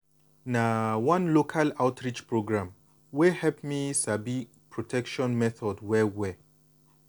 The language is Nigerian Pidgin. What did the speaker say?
na one local outreach program wey help me sabi protection methods well well.